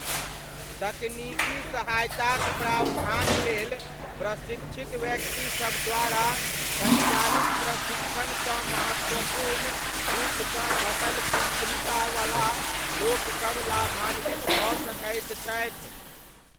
तकनीकी सहायताक प्रावधान लेल प्रशिक्षित व्यक्तिसब द्वारा सञ्चालित प्रशिक्षणसँ महत्वपूर्ण रूपसँ घटल तीक्ष्णता वला लोकसब लाभान्वित भऽ सकैत छथि।